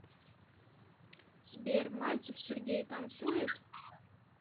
сбер мальцев сергей танцует